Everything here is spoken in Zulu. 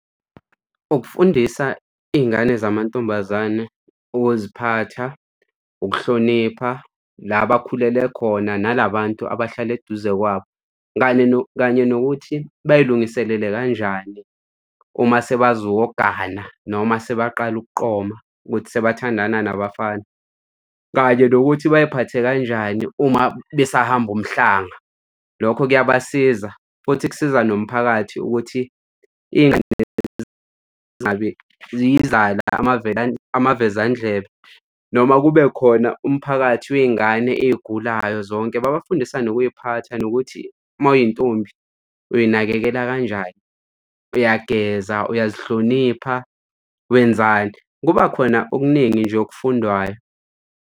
Ukufundisa iy'ngane zamantombazane ukuziphatha ukuhlonipha, la bakhulele khona, nala bantu abahlala eduze kwabo, kanye kanye nokuthi bayilungiselele kanjani uma sebazogana noma sebaqale ukuqonda ukuthi sebathandana nabafana. Kanye nokuthi bay'phathe kanjani uma besahamba umhlanga. Lokho kuyabasiza futhi kusiza nomphakathi ukuthi iy'ngane zingabi zizala amavezandlebe, noma kube khona umphakathi wey'ngane ey'gulayo zonke, babafundise nokuy'phatha, nokuthi uma uyintombi uy'nakekela kanjani uyageza, uyazihlonipha, wenzani. Kuba khona okuningi nje okufundwayo.